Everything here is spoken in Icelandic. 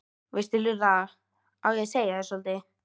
veistu Lulla, á ég að segja þér soldið?